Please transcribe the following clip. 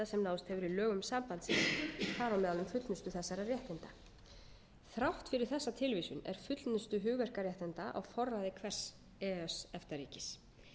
í lögum sambandsins þar á meðal um fullnustu þessara réttinda þrátt fyrir þessa tilvísun er fullnusta hugverkaréttinda á forræði hvers e e s efta ríkis